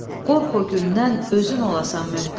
Qorx o gündən, özün olasan möhtac.